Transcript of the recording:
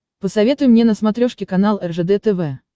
посоветуй мне на смотрешке канал ржд тв